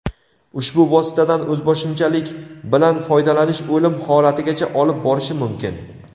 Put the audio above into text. ushbu vositadan o‘zboshimchalik bilan foydalanish o‘lim holatigacha olib borishi mumkin.